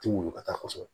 Ti muɲu ka taa kɔsɔbɛ